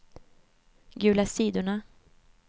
gula sidorna